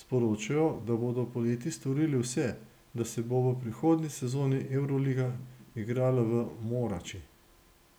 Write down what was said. sporočajo, da bodo poleti storili vse, da se bo v prihodnji sezoni evroliga igrala v Morači.